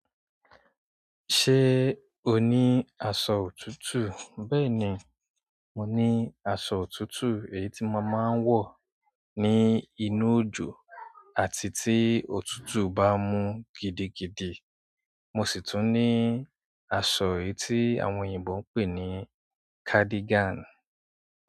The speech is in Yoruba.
Ṣé o ní aṣọ òtútù? Bẹ́ẹ̀ni, mo ní aṣọ òtútù èyí tí mo máa ń wọ̀ ní inú òjò àti tí òtútù bá mú gidigidi. Mo si tun ni aṣọ èyí ti àwọn oyinbo n pe ni cardigan.